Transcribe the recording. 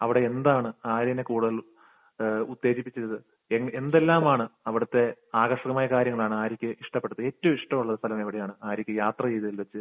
അവിടെ എന്താണ് ആര്യയെ കൂടുതൽ ഏഹ് ഉത്തേജിപ്പിച്ചത്? എന്തെല്ലാമാണ് അവിടുത്തെ ആകർഷണമായ കാര്യങ്ങളാണ് ആര്യയ്ക്ക് ഇഷ്ടപ്പെട്ടത്? ഏറ്റവും ഇഷ്ടമുള്ള സ്ഥലം എവിടെയാണ് ആര്യയ്ക്ക് യാത്ര ചെയ്തതിൽ വെച്ച്?